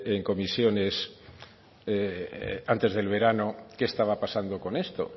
en comisiones antes del verano qué estaba pasando con esto